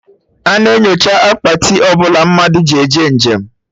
A na-enyocha Akpati ọbụla mmadụ ji eje njem